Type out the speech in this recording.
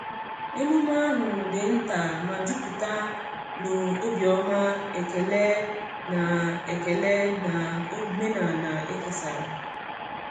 Emume ahụ di nta ma juputa na obiọma, ekele, na ekele, na omenala e kesara.